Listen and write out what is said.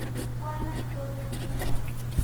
Ipuanat toget ng'ung'.